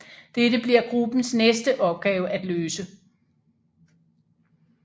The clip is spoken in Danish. Dette bliver gruppens næste opgave at løse